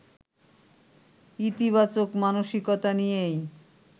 ইতিবাচক মানসিকতা নিয়েই